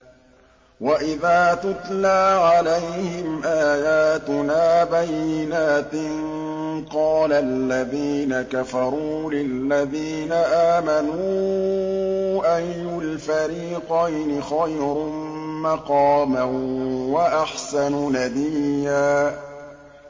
وَإِذَا تُتْلَىٰ عَلَيْهِمْ آيَاتُنَا بَيِّنَاتٍ قَالَ الَّذِينَ كَفَرُوا لِلَّذِينَ آمَنُوا أَيُّ الْفَرِيقَيْنِ خَيْرٌ مَّقَامًا وَأَحْسَنُ نَدِيًّا